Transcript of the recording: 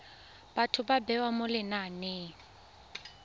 batho ba bewa mo lenaneng